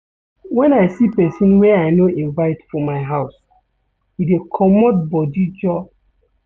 Wen I see pesin wey I no invite for my house, I dey comot body joor.